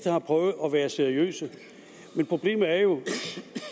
har prøvet at være seriøse men problemet er jo